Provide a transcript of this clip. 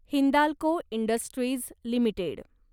Hindalco industries limited